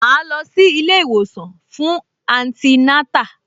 Màá lọ sí ilé-ìwòsàn fún antinátà